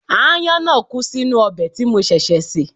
Aáyán náà kú sínú ọbẹ̀ tí mo ṣẹ̀ṣẹ̀ sè